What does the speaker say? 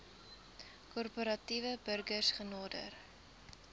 korporatiewe burgers genader